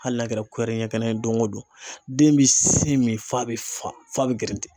Hali n'a kɛra ɲɛ kelen ye don o don , den bɛ sin min f'a bɛ fa f'a bɛ geren.